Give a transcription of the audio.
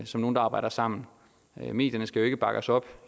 som nogen der arbejder sammen medierne skal jo ikke bakke os op